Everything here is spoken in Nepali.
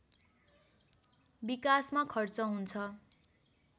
विकासमा खर्च हुन्छ